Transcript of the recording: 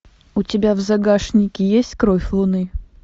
у тебя в загашнике есть кровь луны